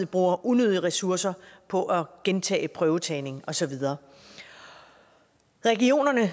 bruger unødige ressourcer på at gentage prøvetagning og så videre regionerne